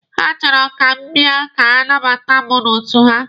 Ha chọrọ ka m bia ka ha nabata mụ n'otu ha.